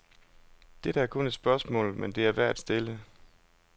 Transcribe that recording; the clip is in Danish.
Dette er kun et spørgsmål, men det er værd at stille.